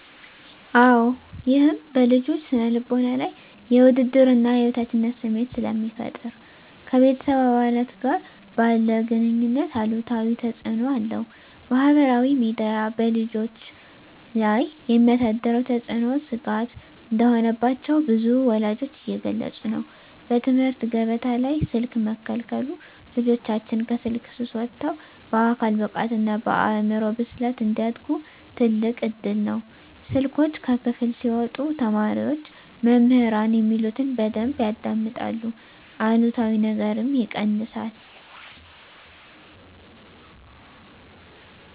-አወ ይህም በልጆች ስነ ልቦና ላይ የውድድርና የበታችነት ስሜት ስለሚፈጠር ... ከቤተሰብ አባላት ጋር ባለ ግኑኝነት አሉታዊ ተፅእኖ አለው። -ማኅበራዊ ሚዲያ በልጆች ላይ የሚያሳድረው ተጽዕኖ ስጋት እንደሆነባቸው ብዙ ወላጆች እየገለጹ ነው። -በትምህርት ገበታ ላይ ስልክ መከልከሉ ልጆቻችን ከስልክ ሱስ ወጥተው በአካል ብቃትና በአእምሮ ብስለት እንዲያድጉ ትልቅ እድል ነው። ስልኮች ከክፍል ሲወጡ ተማሪዎች መምህራን የሚሉትን በደንብ ያዳምጣሉ አሉታዊ ነገርም ይቀንሳል።